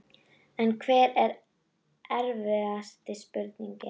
En hver var erfiðasta spurningin?